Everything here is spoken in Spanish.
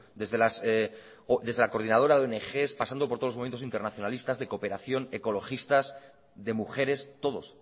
desde la coordinadora de ongs pasando por todos los movimientos internacionalistas de cooperación ecologistas de mujeres todos